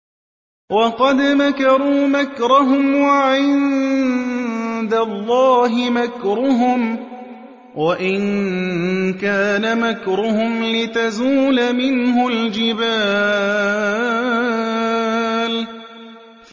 وَقَدْ مَكَرُوا مَكْرَهُمْ وَعِندَ اللَّهِ مَكْرُهُمْ وَإِن كَانَ مَكْرُهُمْ لِتَزُولَ مِنْهُ الْجِبَالُ